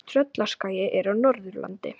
Tröllaskagi er á Norðurlandi.